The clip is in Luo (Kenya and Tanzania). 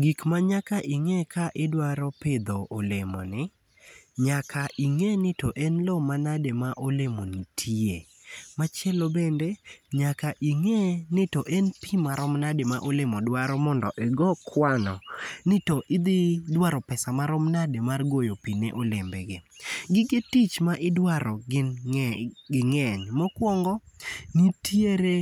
Gik manyaka ing'e ka idwaro pidho olemo ni, nyaka ing'e ni to en lo manade ma olemo ni tiye. Machielo bende, nyaka ing'e ni to en pi marom nade ma olemo dwaro mondo igo kwano ni to idhi dwaro pesa marom nade mar goyo pi ne olembe gi, Gike tich midwaro ging'eny. Mokwongo, nitiere